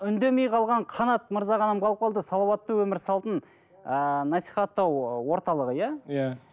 үндемей қалған қанат мырза ғана қалып қалды салауаттық өмір салтын ыыы насихаттау орталығы иә иә